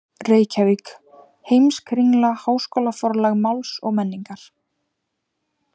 Reykjavík: Heimskringla- Háskólaforlag Máls og menningar.